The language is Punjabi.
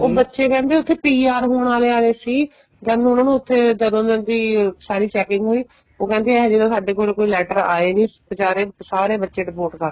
ਉਹ ਬੱਚੇ ਕਹਿੰਦੇ ਉੱਥੇ PR ਹੋਣ ਆਲੇ ਆਏ ਸੀ ਜਦ ਨੂੰ ਉਹਨਾ ਨੂੰ ਉੱਥੇ ਜਦੋਂ ਉਹਨਾ ਦੀ ਸਾਰੀ setting ਹੋਈ ਉਹ ਕਹਿੰਦੇ ਇਹ ਜ਼ੇ ਤਾਂ ਸਾਡੇ ਕੋਲ ਕੋਈ letter ਆਏ ਨਹੀਂ ਬੀਚਾਰੇ ਸਾਰੇ ਬੱਚੇ deport ਕਰਦੇ